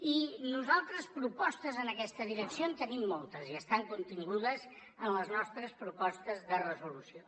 i nosaltres propostes en aquesta direcció en tenim moltes i estan contingudes en les nostres propostes de resolució